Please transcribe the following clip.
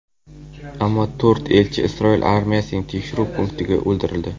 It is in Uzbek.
Ammo to‘rt elchi Isroil armiyasining tekshiruv punktida o‘ldirildi.